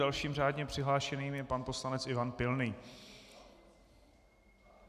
Dalším řádně přihlášeným je pan poslanec Ivan Pilný.